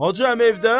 Hoca əmi evdə?